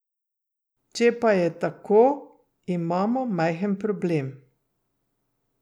Če pa je tako, imamo majhen problem.